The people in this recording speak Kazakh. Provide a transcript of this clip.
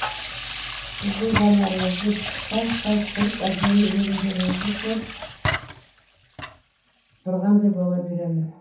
сіздің жанарыңызды сәл пәл түрік әдемі еріндеріңізді көріп тұрғандай бола беремін